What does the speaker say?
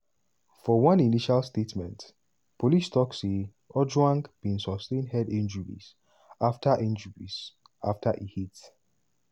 for one initial statement police tok say ojwang "bin sustain head injuries afta injuries afta e hit